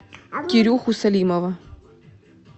кирюху салимова